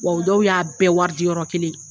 Wa u dɔw y'a bɛɛ waridi yɔrɔ kelen.